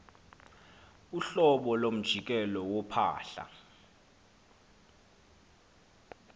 uhlobo lomjikelo wophahla